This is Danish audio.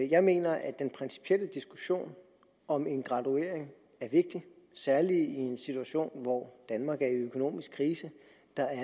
jeg mener at den principielle diskussion om en graduering er vigtig særlig i en situation hvor danmark er i økonomisk krise